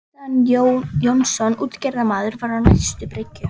Kristján Jónsson útgerðarmaður var á næstu bryggju.